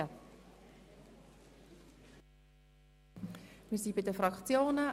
Wir kommen nun zu den Fraktionsvoten.